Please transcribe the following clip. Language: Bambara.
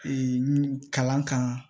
kalan kan